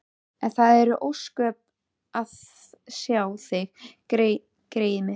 En það eru ósköp að sjá þig, greyið mitt.